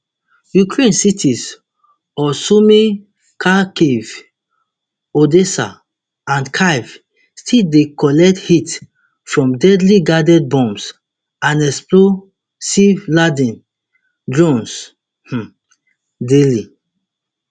ukraine cities of sumy kharkiv odessa and kyiv still dey collect hits from deadly guided bombs and explosiveladen drones um daily